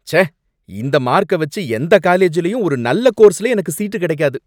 ச்சே! இந்த மார்க்க வச்சு எந்த காலேஜ்லயும் ஒரு நல்ல கோர்ஸ்ல எனக்கு சீட்டு கிடைக்காது.